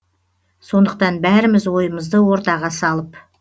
сондықтан бәріміз ойымызды ортаға салып